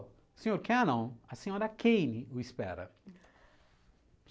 Ô, senhor Cannon, a senhora Kane o espera.